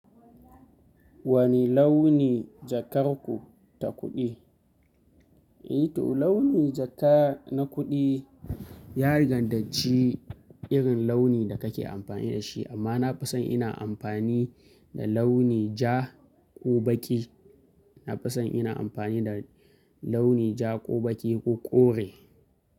Wani launi jakar ku ta kuɗi? Eh to launi jaka na kuɗi ya danganci irin launi da kake amfani da shi. Amma na fi son ina amfani da launi ja ko baƙi. Na fi son ina amfani da launi ja ko baƙi ko kore.